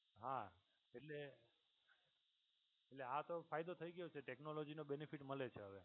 હા એટલે એટલે આ તો ફાયદો થઈ ગયો છે technology નો benefit મળે છે હવે.